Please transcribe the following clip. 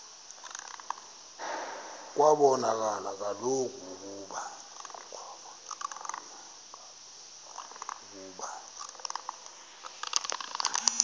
kwabonakala kaloku ukuba